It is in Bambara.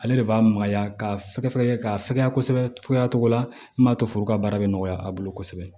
Ale de b'a magaya k'a fɛgɛ fɛgɛya ka fɛgɛya kosɛbɛ fuya cogo la min b'a to foro ka baara bɛ nɔgɔya a bolo kosɛbɛ